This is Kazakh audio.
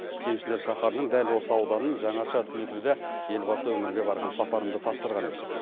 кеншілер шаһарының дәл осы ауданын жаңаша түлетуді елбасы өңірге барған сапарында тапсырған еді